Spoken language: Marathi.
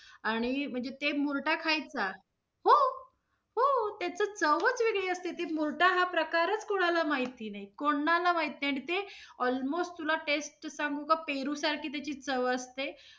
आणि म्हणजे ते मुर्टा खायचा? हो! हो त्याच चवच वेगळी असते. ते मुर्टा हा प्रकारच कोणाला माहिती नहीं, कोणाला माहित नाही. आणि ते almost तुला taste सांगू का पेरू सारखी चव असते.